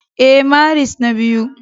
Ee, Maris na biyu